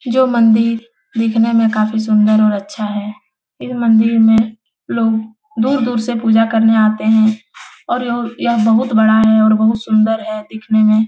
जो मंदिर दिखने में काफी सुंदर और अच्छा है इन मंदिर में लोग दूर-दूर से पूजा करने आते हैं और लोग यह बहुत बड़ा है और बहुत सुंदर है दिखने में --